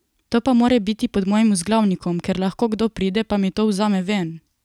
To pa mora biti pod mojim vzglavnikom, ker lahko kdo pride pa mi to vzame ven!